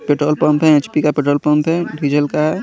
Petrol pump है HP का petrol pump है डीजल का है।